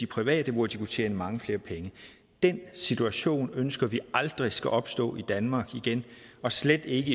private hvor de kunne tjene mange flere penge den situation ønsker vi aldrig skal opstå i danmark igen og slet ikke